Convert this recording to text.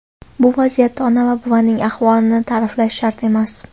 Bu vaziyatda ona va buvining ahvolini ta’riflash shart emas.